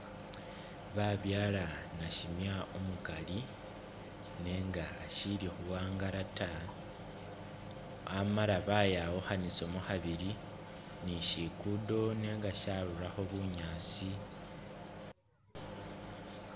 Babyala nasimya umukaali nenga asi khuwangala taa amala bayawukhanisamo khabili bishiguddo nenga sharurakho bunyaasi